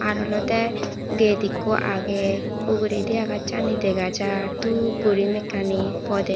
ar olodey gate ekku agey uguredi agachani dega jar dhup guri mekkani podey.